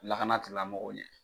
Lakana tigilamɔgɔw ɲɛ.